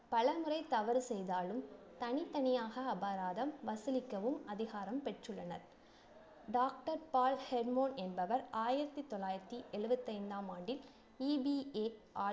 பலமுறை தவறு செய்தாலும் தனித்தனியாக அபராதம் வசூலிக்கவும் அதிகாரம் பெற்றுள்ளனர் doctor பால் ஹெர்ட்மோ என்பவர் ஆயிரத்தி தொள்ளாயிரத்தி எழுபத்தி ஐந்தாம் ஆண்டில் EVAR